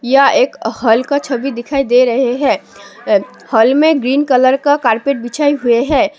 यह एक हाल का छवि दिखाई दे रहे हैं हाल में ग्रीन कलर का कारपेट बिछाए हुए हैं।